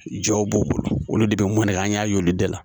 Jɔw b'u bolo olu de bɛ mɔɛ an y'a y'olu bɛɛ la